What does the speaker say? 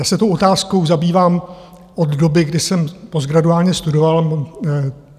Já se tou otázkou zabývám od doby, kdy jsem postgraduálně studoval.